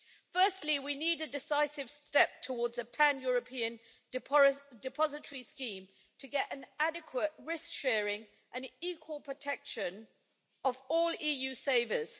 Firstly, we need a decisive step towards a pan European depository scheme to get adequate risk sharing and equal protection of all EU savers.